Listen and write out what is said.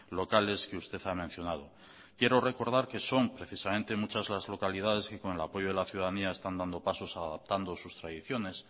locales que usted ha mencionado quiero recordar que son precisamente muchas las localidades que con el apoyo de la ciudadanía están dando pasos adaptando sus tradiciones